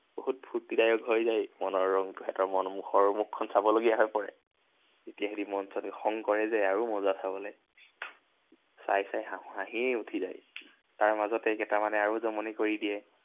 বহুত ফুৰ্তিদায়ক হৈ যায়, মনৰ ৰং। সিহঁতৰ মন, মুখখন চাবলগীয়া হৈ পৰে। যেতিয়া সিহঁতি মন চন খং কৰে যে, আৰু মজা চাবলে। চাই চাই হাঁহিয়ে উঠি যায়। তাৰ মাজতে কেইটামানে আৰু জমনি কৰি দিয়ে।